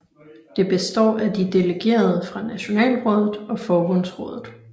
Det består af de delegerede fra Nationalrådet og Forbundsrådet